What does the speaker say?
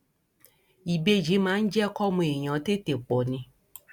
ìbejì máa ń jẹ kọmọ èèyàn tètè pọ ni